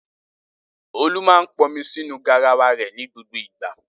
Olú máa ń pọnmi sínú garawa rẹ̀ ní gbogbo ìgbà.